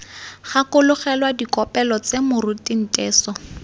gakologelwa dikopelo tse moruti nteso